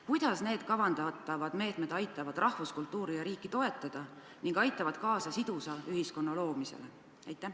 Kuidas need kavandatavad meetmed aitavad rahvuskultuuri ja riiki toetada ning aitavad kaasa sidusa ühiskonna loomisele?